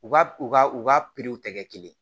U ka u ka u ka pipiw tɛ kɛ kelen ye